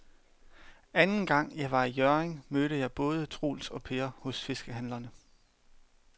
Anden gang jeg var i Hjørring, mødte jeg både Troels og Per hos fiskehandlerne.